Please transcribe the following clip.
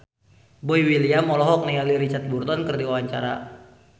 Boy William olohok ningali Richard Burton keur diwawancara